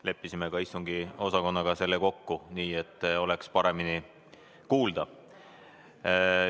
Leppisime ka istungiosakonnaga selle kokku, et oleks paremini kuulda.